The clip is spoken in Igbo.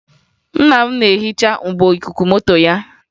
Nna m na-ehiche mgbo ikuku moto ya